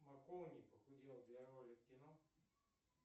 маккоуни похудел для роли в кино